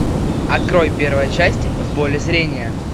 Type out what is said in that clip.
открой первая часть в поле зрения